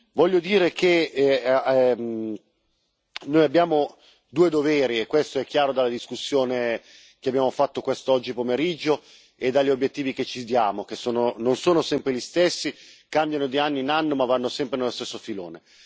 Voglio dire che noi abbiamo due doveri, e questo è chiaro dalla discussione che abbiamo fatto quest'oggi pomeriggio e dagli obiettivi che ci diamo, che non sono sempre gli stessi, cambiano di anno in anno ma vanno sempre nello stesso filone.